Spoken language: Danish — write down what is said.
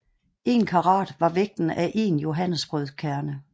En karat var vægten af én johannesbrødkerne